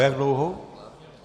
O jak dlouhou?